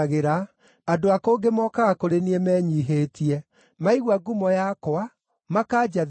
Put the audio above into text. andũ a kũngĩ mokaga kũrĩ niĩ menyiihĩtie; maigua ngumo yakwa, makanjathĩkĩra.